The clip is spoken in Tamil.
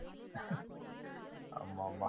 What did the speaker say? ஆமாமாம்.